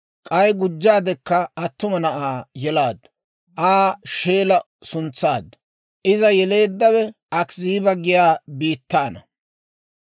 K'ay gujjaadekka attuma na'aa yelaaddu; Aa Sheela suntsaaddu. Iza yeleeddawe Akiziiba giyaa biittaana.